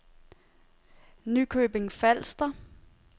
Nykøbing Falster